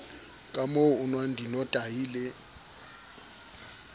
kamoo o nwang dinotahi le